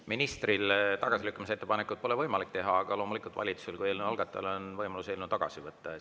Ministril tagasilükkamise ettepanekut pole võimalik teha, aga loomulikult on valitsusel kui eelnõu algatajal võimalus eelnõu tagasi võtta.